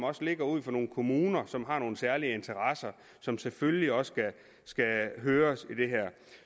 også ligger ud for nogle kommuner som har nogle særlige interesser som selvfølgelig også skal høres i det her